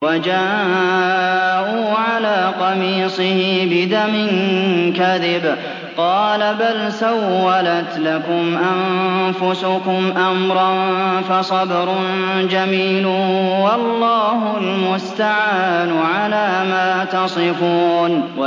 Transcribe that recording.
وَجَاءُوا عَلَىٰ قَمِيصِهِ بِدَمٍ كَذِبٍ ۚ قَالَ بَلْ سَوَّلَتْ لَكُمْ أَنفُسُكُمْ أَمْرًا ۖ فَصَبْرٌ جَمِيلٌ ۖ وَاللَّهُ الْمُسْتَعَانُ عَلَىٰ مَا تَصِفُونَ